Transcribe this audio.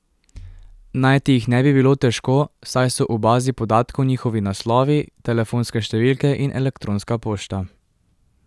Najti jih ne bi bilo težko, saj so v bazi podatkov njihovi naslovi, telefonske številke in elektronska pošta.